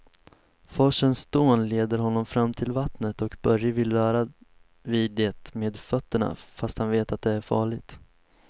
Forsens dån leder honom fram till vattnet och Börje vill röra vid det med fötterna, fast han vet att det är farligt.